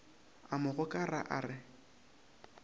a mo gokara a re